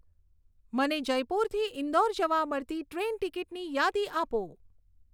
મને જયપુરથી ઇન્દોર જવા મળતી ટ્રેઈન ટિકીટની યાદી આપો